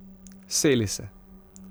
Seli se.